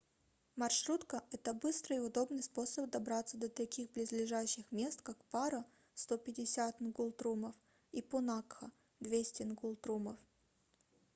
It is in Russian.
маршрутка — это быстрый и удобный способ добраться до таких близлежащих мест как паро 150 нгултрумов и пунакха 200 нгултрумов